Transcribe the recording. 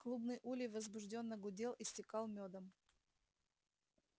клубный улей возбуждённо гудел истекал мёдом